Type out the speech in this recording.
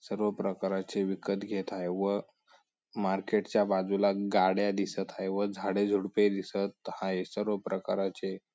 सर्व प्रकाराचे विकत घेत आहे व मार्केटच्या बाजूला गाड्या दिसत हाये व झाडे झुडपे दिसत हाये सर्व प्रकाराचे--